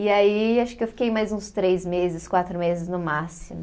E aí, acho que eu fiquei mais uns três meses, quatro meses no máximo.